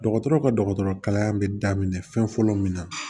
Dɔgɔtɔrɔ ka dɔgɔtɔrɔkalan bɛ daminɛ fɛn fɔlɔ min na